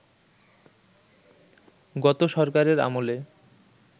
গত সরকারের আমলে